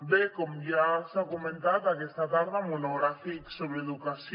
bé com ja s’ha comentat aquesta tarda monogràfic sobre educació